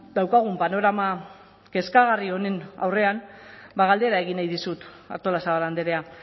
daukagun panorama kezkagarri honen aurrean ba galdera egin nahi dizut artolazabal andrea